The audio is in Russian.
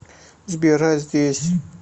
сбер а здесь